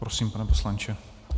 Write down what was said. Prosím, pane poslanče.